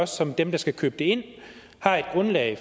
som den der skal købe det ind har et grundlag